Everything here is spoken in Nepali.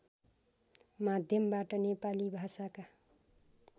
माध्यमबाट नेपाली भाषाका